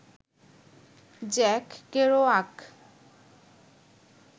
Jack Kerouac